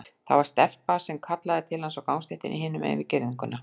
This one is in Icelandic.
Það var stelpa að kalla til hans á gangstéttinni hinum megin við girðinguna.